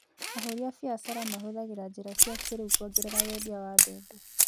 Ahũri a biacara mahũthagĩra njĩra cia kĩrĩu kuongerera wendia wa mbembe.